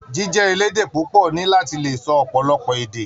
Jíjẹ elédè púpọ ní láti lè sọ ọpọlọpọ èdè.